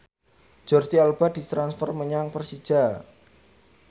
Jordi Alba ditransfer menyang Persija